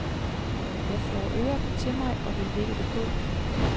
Jeg flår røret til mig og vil lægge det på.